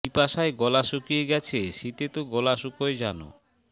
পিপাসায় গলা শুকিয়ে গেছে শীতে তো গলা শুকায় জানো